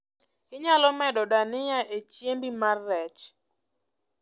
Inyalo medo dania e chiembi mar rech